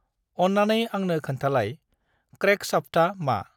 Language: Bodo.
अन्नानै आंनो खोन्थालाय, क्रेंकशाफ्टा मा।